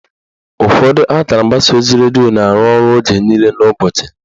Ụfọdụ akara mgbasa ozi redio na-arụ ọrụ oge niile n'ụbọchị.